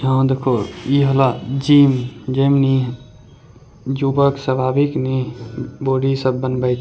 यहां देखो इ हला जिम जिम नी युवक सब आबी के नी बॉडी सब बनवे --